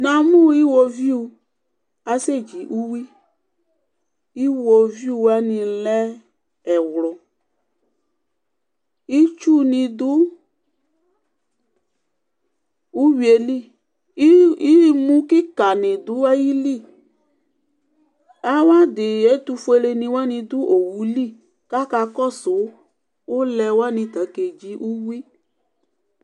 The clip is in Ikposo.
Namʋ iwoviu asɛdzi uwi iwoviu wani lɛ ɛwlʋ itsu ni dʋ ʋwi yɛli imʋ kika ni dʋ ayili awʋ adi ɛtʋfueleni wani dʋ owʋli kʋ akakɔsʋ ʋlɛ wani tʋ akedzi uwi